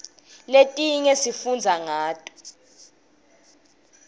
letinye sifundza ngato